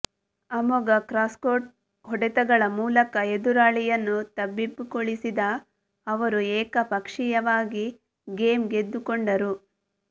ಅಮೋಘ ಕ್ರಾಸ್ಕೋರ್ಟ್ ಹೊಡೆತಗಳ ಮೂಲಕ ಎದುರಾಳಿಯನ್ನು ತಬ್ಬಿಬ್ಬುಗೊಳಿಸಿದ ಅವರು ಏಕಪಕ್ಷೀಯವಾಗಿ ಗೇಮ್ ಗೆದ್ದುಕೊಂಡರು